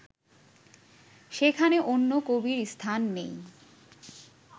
সেখানে অন্য কবির স্থান নেই